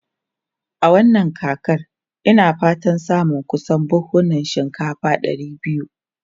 A wannan kakar, ina fatan samun kusan buhunan shinkafa ɗari biyu.